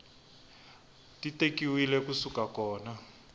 ti tekiwile ku suka kona